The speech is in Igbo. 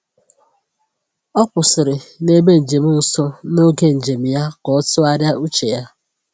O kwụsịrị n’ebe njem nsọ n’oge njem ya ka o tụgharịa uche ya.